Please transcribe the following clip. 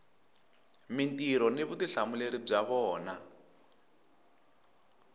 mintirho ni vutihlamuleri bya vona